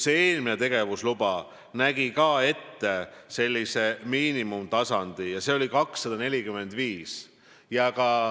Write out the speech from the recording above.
Ka eelmine tegevusluba nägi ette miinimumarvu, see oli 245.